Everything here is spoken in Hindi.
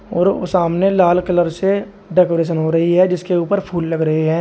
और वो सामने लाल कलर से डेकोरेशन हो रही है जिसके ऊपर फूल लग रहे हैं।